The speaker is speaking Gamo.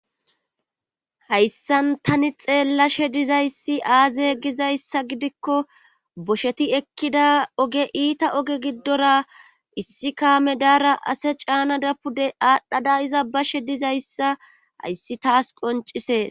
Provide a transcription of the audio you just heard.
Hayssan tani xeellashe diza issi aaze giza issa gidikko bosheti ekkida oge iita oge giddora issi kaame daara ase caanada pude aadhdhada iza bashe diza issa hayssi taas qoncisees.